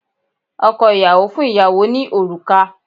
Ọkọ ìyàwó fún ìyàwó ní òrùka